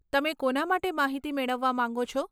તમે કોના માટે માહિતી મેળવવા માંગો છો?